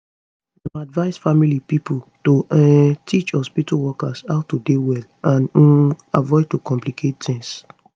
dem advise family pipo to um teach hospitu workers how to dey well and um avoid to complicate tings